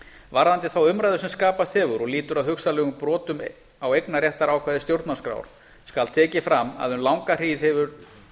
varðandi þá umræðu sem skapast hefur og lýtur að hugsanlegum brotum á eignarréttarákvæði stjórnarskrár skal tekið fram að um langa tíð hefur